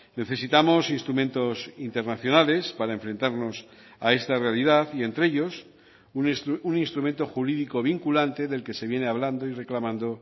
necesitamos instrumentos internacionales para enfrentarnos a esta realidad y entre ellos un instrumento jurídico vinculante del que se viene hablando y reclamando